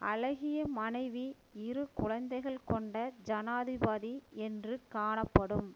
அழகிய மனைவி இரு குழந்தைகள் கொண்ட ஜனாதிபதி என்று காணப்படும்